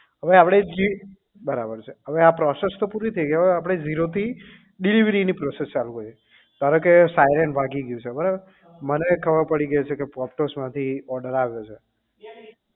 અવે આપડે જે બરાબર છે અવે આ process તો પુરી થઇ ગઈ હવે આપણે zero થી delivery ની process ચાલુ કરીએ ધારો કે siren વાગી ગયું છે બરાબર મને ખબર પડી ગઈ છે કે પોપટસ માંથી order આવ્યો છે